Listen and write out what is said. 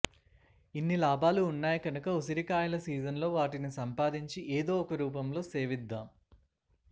ఇన్ని లాభాలు ఉన్నాయి కనుక ఉసిరికాయల సీజన్లో వాటిని సంపాదించి ఏదో ఒక రూపంలో సేవిద్దాం